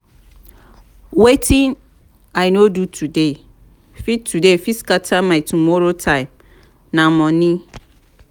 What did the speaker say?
wetin i no do today fit today fit scatter my tomorrow time na monie.